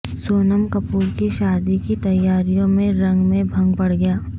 سونم کپور کی شادی کی تیاریوں میں رنگ میں بھنگ پڑگیا